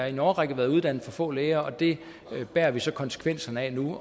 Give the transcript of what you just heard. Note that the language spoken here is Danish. i en årrække været uddannet for få læger og det bærer vi så konsekvenserne af nu